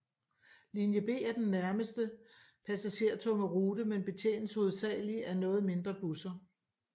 Linje B er den næstmest Passagertunge rute men betjenes hovedsageligt af noget mindre busser